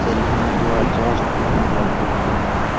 Ceiling में दो exhaust fan लगे हुए है।